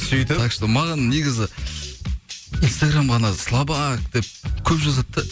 сөйтіп так что маған негізі инстаграмға анау слабак деп көп жазады да